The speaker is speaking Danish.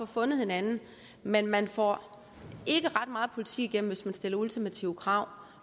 finder hinanden men man får ikke ret meget politik igennem hvis man stiller ultimative krav